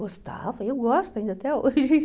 Gostava, eu gosto ainda até hoje.